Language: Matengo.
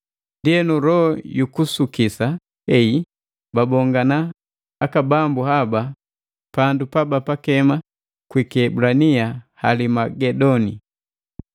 Ndienu, loho yukusukisa heyi babongana aka bambu haba pandu pabakema kwi kiebulania Halimagedoni.